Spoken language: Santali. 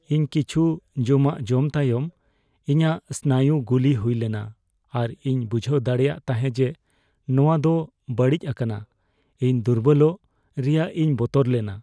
ᱤᱧ ᱠᱤᱪᱷᱩ ᱡᱚᱢᱟᱜ ᱡᱚᱢ ᱛᱟᱭᱚᱢ ᱤᱧᱟᱹᱜ ᱥᱱᱟᱭᱩ ᱜᱩᱞᱤ ᱦᱩᱭ ᱞᱮᱱᱟ ᱟᱨ ᱤᱧ ᱵᱩᱡᱷᱟᱹᱣ ᱫᱟᱲᱮᱭᱟᱜ ᱛᱟᱦᱮᱸ ᱡᱮ ᱱᱚᱶᱟ ᱫᱚ ᱵᱟᱹᱲᱤᱡ ᱟᱠᱟᱱᱟ ᱾ᱤᱧ ᱫᱩᱨᱵᱚᱞᱚᱜ ᱨᱮᱭᱟᱜ ᱤᱧ ᱵᱚᱛᱚᱨ ᱞᱮᱱᱟ ᱾